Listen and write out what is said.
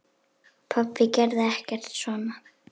Pabbi gerði ekkert svona.